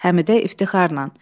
Həmidə iftixarla.